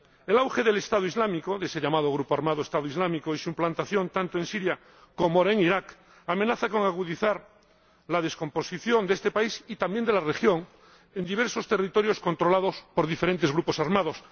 El auge de ese grupo armado llamado Estado Islámico, y su implantación tanto en Siria, como ahora en Irak, amenaza con agudizar la descomposición de este país —y también de la región— en diversos territorios controlados por diferentes grupos armados.